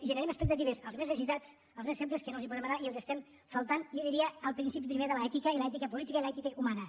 generem expectatives als més necessitats als més febles que no els podem donar i els estem faltant jo diria al principi primer de l’ètica i l’ètica política i l’ètica humana